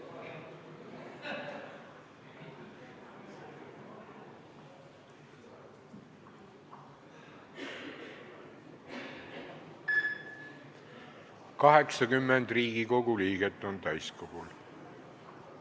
Kohaloleku kontroll 80 Riigikogu liiget on täiskogul.